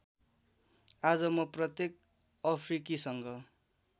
आज म प्रत्येक अफ्रिकीसँग